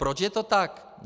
Proč je to tak?